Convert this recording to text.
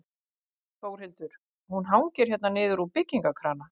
Þórhildur: Hún hangir hérna niður úr byggingakrana?